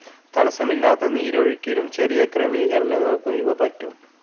തടസ്സമില്ലത്ത നീരൊഴുക്കിനും ചെറിയ ക്രമീകരണങ്ങൾക്കും ഇവ പറ്റും.